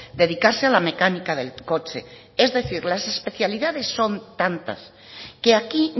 dedicarse a la mecánica del coche es decir las especialidades son tantas que aquí